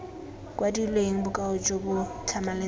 kwadilweng bokao jo bo tlhamaletseng